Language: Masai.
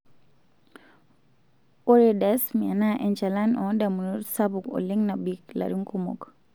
Ore dysthmia naa enchalan oondamunot sapuk oleng' nabik larin kumok.